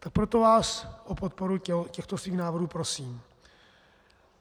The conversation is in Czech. Tak proto vás o podporu těchto svých návrhů prosím.